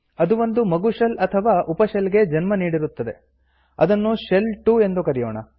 ಅದು ಒಂದು ಮಗು ಶೆಲ್ ಅಥವಾ ಉಪ ಶೆಲ್ ಗೆ ಜನ್ಮ ನೀಡಿರುತ್ತದೆ ಅದನ್ನು ಶೆಲ್ 2 ಎಂದು ಕರೆಯೋಣ